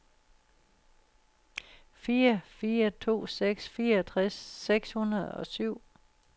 fire fire to seks fireogtres seks hundrede og syv